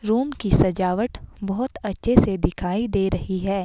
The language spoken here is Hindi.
रूम की सजावट बहुत अच्छे से दिखाई दे रही है।